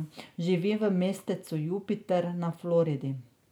Živi v mestecu Jupiter na Floridi.